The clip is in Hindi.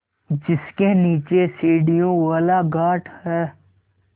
जिसके नीचे सीढ़ियों वाला घाट है